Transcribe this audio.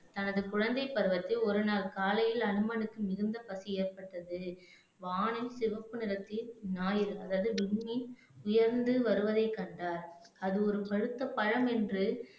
தனது குழந்தைப் பருவத்தில் ஒரு நாள் காலையில் அனுமனுக்கு மிகுந்த பசி ஏற்பட்டது வானில் சிவப்பு நிறத்தில் ஞாயிறு அதாவது வின்மீன் உயர்ந்து வருவதைக் கண்டார் அது ஒரு பழுத்த பழம் என்று